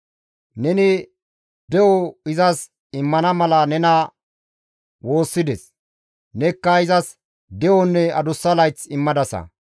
Neni de7o izas immana mala nena woossides; nekka izas de7onne adussa layth immadasa.